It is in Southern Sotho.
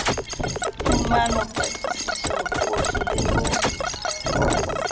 phumano patlisiso qoso le ho